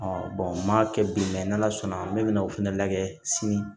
n m'a kɛ bi n'ala sɔnna ne bɛ na o fɛnɛ lajɛ sini